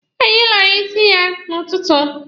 Anyị lara isi anyị n'ụtụtụ.